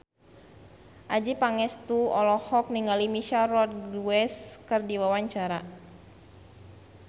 Adjie Pangestu olohok ningali Michelle Rodriguez keur diwawancara